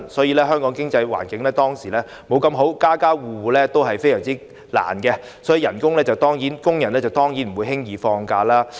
以前香港經濟環境不太好，家家戶戶捉襟見肘，工人當然不會輕易放假。